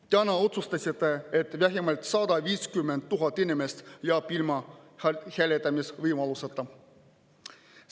Täna otsustasite, et vähemalt 150 000 inimest jääb ilma hääletamisvõimaluseta.